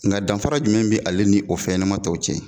Nka danfara jumɛn bi ale ni o fɛnɲɛnɛma tɔw cɛ?